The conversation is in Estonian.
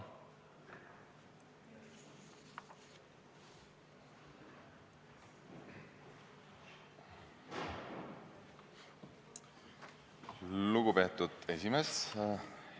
Lugupeetud esimees!